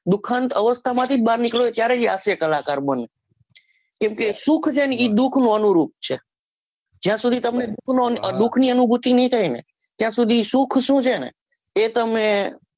દુખન અવસ્થામાં જ બાર નીકળ્યો હોય ત્યારે એ હાસ્ય કલાકાર બને કેમ કે સુખ છે ને એ દુખ નો અનુરૂધ છે જ્યાં સુધી તમને દુઃખનો દુખની અનુભૂતિ ના થાયને ત્યાં સુધી સુખ સુ છે ને એ તમે